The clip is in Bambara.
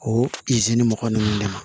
O mɔgɔ ninnu de ma